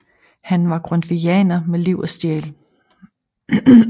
Han var grundtvigianer med liv og sjæl